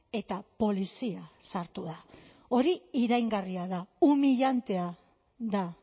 eta polizia sartu da hori iraingarria da humillantea da